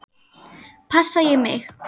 Passa ég mig?